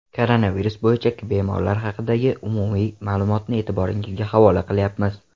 Koronavirus bo‘yicha bemorlar haqidagi umumiy ma’lumotni e’tiboringizga havola qilyapmiz.